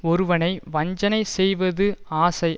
ஒருவனை வஞ்சனை செய்வது ஆசை